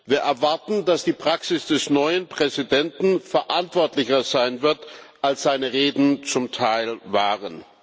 Wir erwarten, dass die Praxis des neuen Präsidenten verantwortlicher sein wird, als seine Reden zum Teil waren.